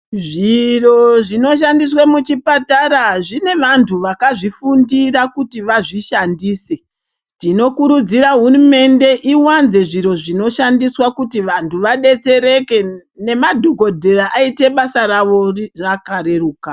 Zviro zvinoshandiswa muchipatara zvine vantu vakazvifundira kuti vazvishandise tinokurudzira hurumende yedu iwanze zviro zvinoshandiswa kuti vantu vadetsereke nemadhokodheya aite basa rawo rakareruka.